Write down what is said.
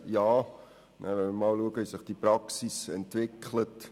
Ja, und dann mal sehen, wie sich die Praxis entwickelt.